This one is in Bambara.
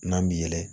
N'an bi yɛlɛ